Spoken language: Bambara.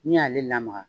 N'i y'ale lamaga